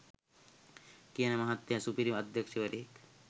කියන මහත්තය සුපිරි අධ්‍යක්ෂවරයෙක්.